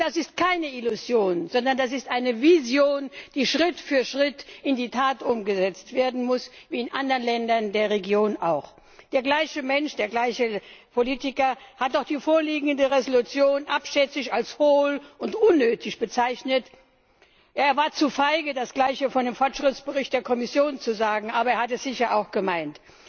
Und das ist keine Illusion, sondern das ist eine Vision, die Schritt für Schritt in die Tat umgesetzt werden muss wie in anderen Ländern der Region auch. Der gleiche Mensch, der gleiche Politiker hat auch die vorliegende Entschließung abschätzig als hohl und unnötig bezeichnet. Er war zu feige, das Gleiche von dem Fortschrittsbericht der Kommission zu sagen, aber er hat es sicher auch gemeint.